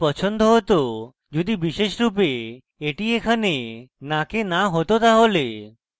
আমার এটি পছন্দ হতো যদি বিশেষরূপে এটি এখানে নাকে না হতো তাহলে